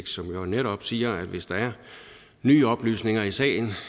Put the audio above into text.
som jo netop siger at hvis der er nye oplysninger i sagen